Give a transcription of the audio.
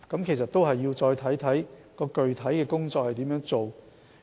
其實，這要視乎具體工作情況。